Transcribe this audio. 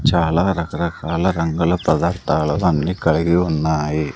చాలా రకరకాల రంగుల పదార్థాలు అన్ని కలిగి ఉన్నాయి.